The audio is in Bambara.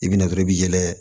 I bɛna dɔrɔn i bɛ yɛlɛ